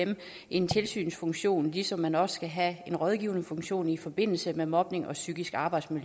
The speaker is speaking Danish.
en tilsynsfunktion ligesom man også skal have en rådgivende funktion i forbindelse med mobning og psykisk